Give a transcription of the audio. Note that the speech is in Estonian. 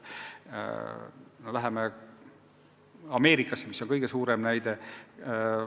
Läheme Ameerikasse, mis on kõige parem näide.